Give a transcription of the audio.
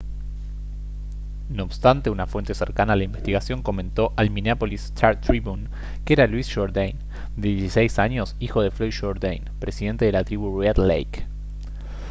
no obstante una fuente cercana a la investigación comentó al minneapolis star-tribune que era louis jordain de 16 años hijo de floyd jourdain presidente de la tribu red lake